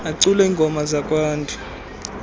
acula iingoma zakwantu